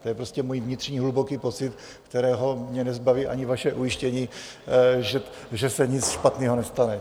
To je prostě můj vnitřní hluboký pocit, kterého mě nezbaví ani vaše ujištění, že se nic špatného nestane.